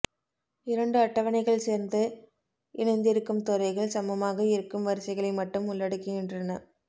இரண்டு அட்டவணைகள் சேர்ந்த இணைந்திருக்கும் துறைகள் சமமாக இருக்கும் வரிசைகளை மட்டும் உள்ளடக்குகின்றன